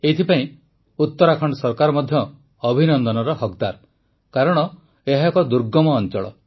ଏଥିପାଇଁ ଉତ୍ତରାଖଣ୍ଡ ସରକାର ମଧ୍ୟ ଅଭିନନ୍ଦନର ହକଦାର କାରଣ ଏହା ଏକ ଦୁର୍ଗମ ଅଂଚଳ